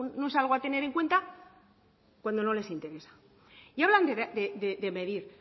no es algo a tener en cuenta cuando no les interesa y hablan de medir